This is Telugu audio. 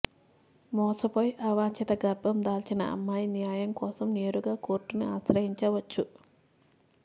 మోసపోయి అవాంఛిత గర్భం దాల్చిన అమ్మాయి న్యాయం కోసం నేరుగా కోర్టుని ఆశ్రయించవచ్చు